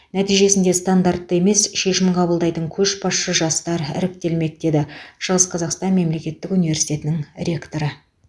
нәтижесінде стандартты емес шешім қабылдайтын көшбасшы жастар іріктелмек деді шығыс қазақстан мемлекеттік университетінің ректоры